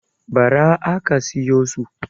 Ba ra aka siyo su